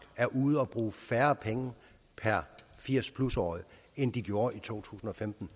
er ude at bruge færre penge per 80 årig end de gjorde i to tusind og femten